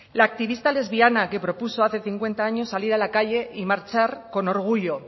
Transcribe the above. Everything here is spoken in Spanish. la activista lesbiana que propuso hace cincuenta años salir a la calle y marchar con orgullo